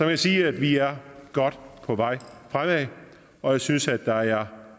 kan sige at vi er godt på vej fremad og jeg synes der er